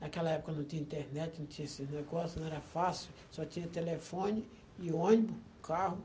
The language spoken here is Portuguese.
Naquela época não tinha internet, não tinha esses negócios, não era fácil, só tinha telefone e ônibus, carro.